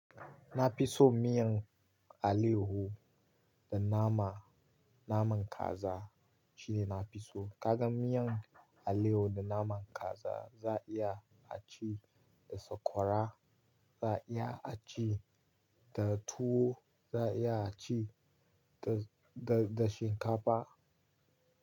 Na fi so miyan alayaho da nama, naman kaza shine na fi so. Ka gan miyan alayaho da naman kaza za a iya a ci da sakwara, za a iya a ci da tuwo, za a iya a ci da, da, da shinkafa.